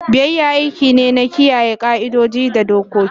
Biyayya aiki ne na kiyaye ƙa'idodi da dokoki.